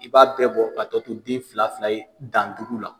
I b'a bɛɛ bɔ ka tɔ to den fila fila ye dan duuru la.